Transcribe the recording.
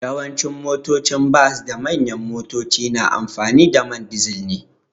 Yawancin motocin bas da manyan motoci na amfani da ma dizal ne.